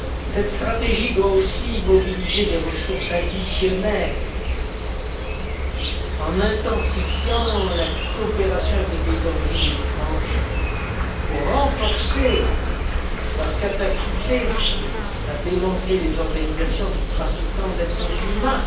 Cette stratégie doit aussi mobiliser des ressources additionnelles en intensifiant la coopération avec les pays d'origine et de transit pour renforcer leur capacité à démanteler les organisations de trafiquants d'êtres humains